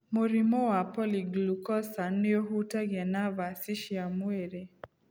Mũrimũ wa Polyglucosan nĩ ũhutagia navaci cia mwĩrĩ